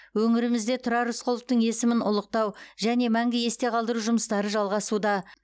өңірімізде тұрар рысқұловтың есімін ұлықтау және мәңгі есте қалдыру жұмыстары жалғасуда